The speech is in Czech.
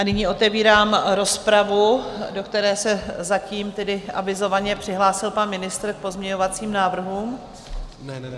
A nyní otevírám rozpravu, do které se zatím tedy avizovaně přihlásil pan ministr k pozměňovacím návrhům.